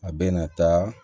A bɛ na taa